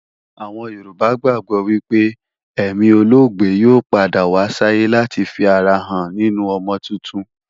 Àwọn Yorùbá gbàgbó wípé èmi olóògbé yóò padà wá sáyé láti fi ara rẹ̀ hàn nínu ọmọ tuntun